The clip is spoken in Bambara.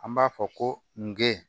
An b'a fɔ ko nge